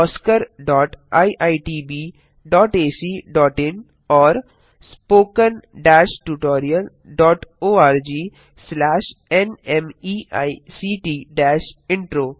oscariitbacइन and spoken tutorialorgnmeict intro